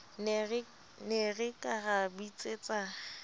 ne re ka ra bitsetsa